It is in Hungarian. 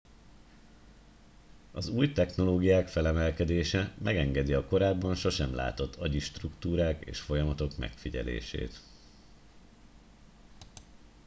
az új technológiák felemelkedése megengedi a korábban sosem látott agyi struktúrák és folyamatok megfigyelését